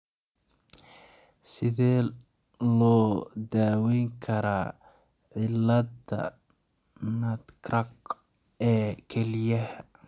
Sidee loo daweyn karaa cilladda nutcracker ee kelyaha?